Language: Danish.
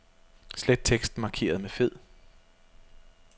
Slet teksten markeret med fed.